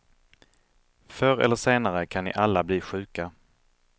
Förr eller senare kan ni alla bli sjuka.